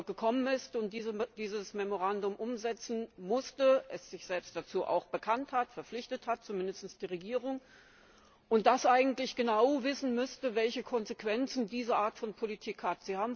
gekommen ist und dieses Memorandum umsetzen musste, das sich selbst auch dazu bekannt und verpflichtet hat zumindest die Regierung und das eigentlich genau wissen müsste, welche Konsequenzen diese Art von Politik hat.